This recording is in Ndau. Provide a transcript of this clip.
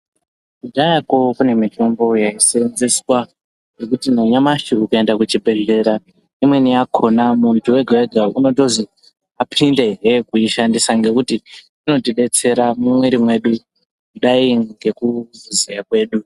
Kudhayakwo kune mitombo yaisenzeswa yekuti nanyamashi ukaenda kuchibhedhlera imweni yakhona muntu wega wega inotozi apindehe kuishandisa nekuti inotidetsera mumwiri mwedu kudai ngekuziya kwedu.